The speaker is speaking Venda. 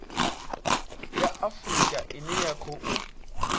ya afurika ine ya khou